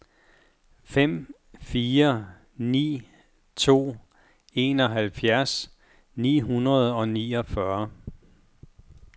fem fire ni to enoghalvfjerds ni hundrede og niogfyrre